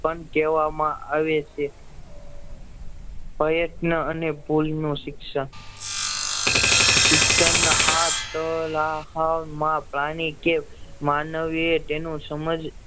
પણ કહેવામાં આવે છે પ્રયત્ન અને ભૂલ નું શિક્ષણ શિક્ષણ આટલાહમાં પ્રાણી કે માનવીએ તેનું સમજ